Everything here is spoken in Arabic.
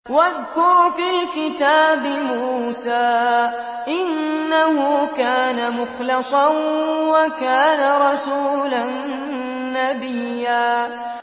وَاذْكُرْ فِي الْكِتَابِ مُوسَىٰ ۚ إِنَّهُ كَانَ مُخْلَصًا وَكَانَ رَسُولًا نَّبِيًّا